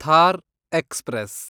Thar express